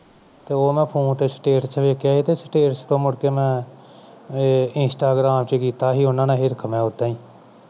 ਤੇ ਮੈਂ ਉਹ phone ਤੇ status ਵੇਖਿਆ ਸੀ ਤੇ status ਤੋਂ ਮੁੜ ਕੇ ਮੈਂ ਏ ਮੈਂ instagram ਚ ਕੀਤਾ ਸੀ ਉਨ੍ਹਾਂ ਨਾਲ ਹਿਰਖ ਮੈਂ ਓਦਾਂ ਹੀ